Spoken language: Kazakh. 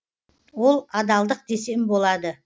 ол адалдық десем болады